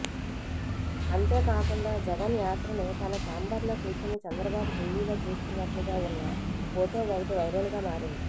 అంతేకాకుండా జగన్ యాత్రను తన ఛాంబర్లో కూర్చుని చంద్రబాబు టివిలో చూస్తున్నట్లుగా ఉన్న ఫొటో ఒకటి వైరల్ గా మారింది